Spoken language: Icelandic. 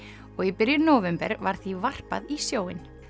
og í byrjun nóvember var því varpað í sjóinn